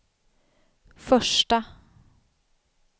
första